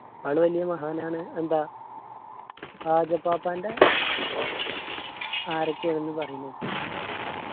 ആള് വെല്യ മഹാനാണ് എന്താ ഹാജർപ്പാപ്പാന്റെ ആരൊക്കെ ആണെന്ന് പറിയിണ കെട്ടിന